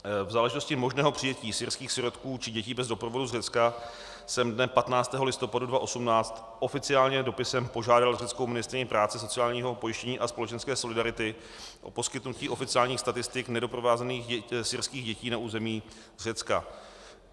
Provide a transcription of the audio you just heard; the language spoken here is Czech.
V záležitosti možného přijetí syrských sirotků či dětí bez doprovodu z Řecka jsem dne 15. listopadu 2018 oficiálně dopisem požádal řeckou ministryni práce, sociálního pojištění a společenské solidarity o poskytnutí oficiálních statistik nedoprovázených syrských dětí na území Řecka.